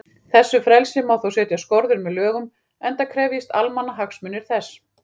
Þessu frelsi má þó setja skorður með lögum, enda krefjist almannahagsmunir þess.